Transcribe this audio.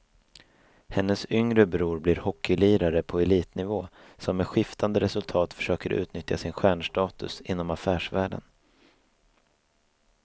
Hennes yngre bror blir hockeylirare på elitnivå som med skiftande resultat försöker utnyttja sin stjärnstatus inom affärsvärlden.